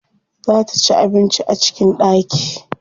Za ta ci abinci a cikin ɗaki.